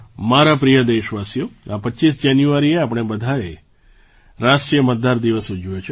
મારા પ્રિય દેશવાસીઓ આ 25 જાન્યુઆરીએ આપણે બધાએ રાષ્ટ્રીય મતદાર દિવસ ઊજવ્યો છે